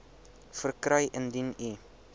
verkry indien u